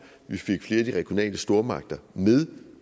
vi fik flere af de regionale stormagter med